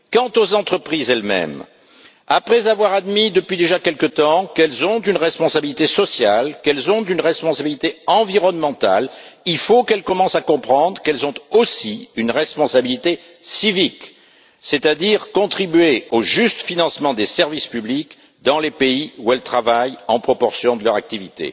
Quant aux entreprises elles mêmes, après avoir admis depuis déjà quelque temps qu'elles ont une responsabilité sociale, qu'elles ont une responsabilité environnementale, il faut qu'elles commencent à comprendre qu'elles ont aussi une responsabilité civique, qui est de contribuer au juste financement des services publics dans les pays où elles travaillent, en proportion de leur activité.